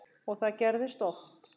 Og það gerðist oft.